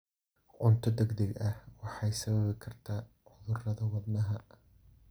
Cunto degdeg ah waxay sababi kartaa cudurrada wadnaha.